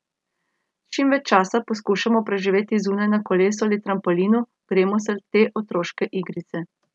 Čim več časa poskušamo preživeti zunaj na kolesu ali trampolinu, gremo se te otroške igrice ...